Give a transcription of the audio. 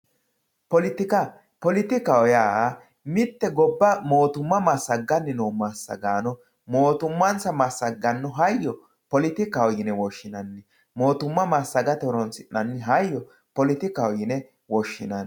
poletika poletikaho yaa mitte gobba massagganni noo massagaano mootummansa massagganno hayyo poletikaho yine woshshinanni mootumma massagate yine horonsi'nanni hayyo poletikaho yine woshshinanni.